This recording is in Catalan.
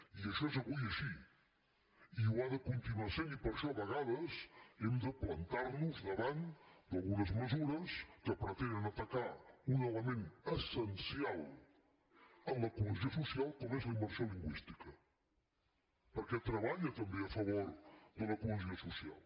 i això és avui així i ho de continuar sent i per això a vegades hem de plantar nos davant d’algunes mesures que pretenen atacar un element essencial en la cohesió social com és la immersió lingüística perquè treballa també a favor de la cohesió social